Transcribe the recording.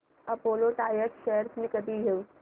Apollo Tyres shares मी कधी घेऊ